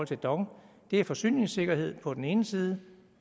til dong er forsyningssikkerheden på den ene side